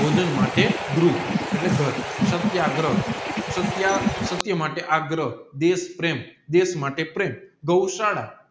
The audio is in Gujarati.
ભોજન માટે ગૃહ એટલે ગાર સત્યાગ્રહ સાટાય માટે આગ્રહ દેશપ્રેમ દેશ માટે પ્રેમ ગૌશાળા